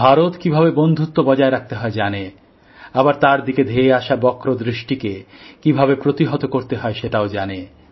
ভারত কীভাবে বন্ধুত্ব বজায় রাখতে হয় জানে আবার তার দিকে ধেয়ে আসা বক্রদৃষ্টিকে কীভাবে প্রতিহত করতে হয় সেটাও জানে